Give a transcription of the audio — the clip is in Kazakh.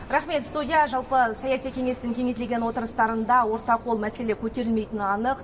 рахмет студия жалпы саяси кеңестің кеңейтілген отырыстарында орта қол мәселе көтерілмейтіні анық